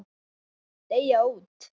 Deyja út.